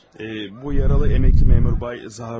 Ee, bu yaralı əməkli məmur bəy Zaxaroviçdir.